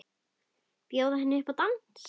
Bjóða henni upp í dans!